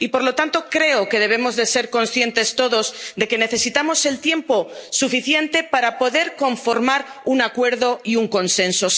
Y por lo tanto creo que debemos ser conscientes todos de que necesitamos el tiempo suficiente para poder conformar un acuerdo y un consenso.